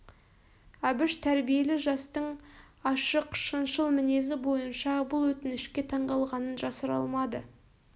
әбіш тәрбиелі жастың ашық шыншыл мінезі бойынша бұл өтінішке таңғалғанын жасыра алмады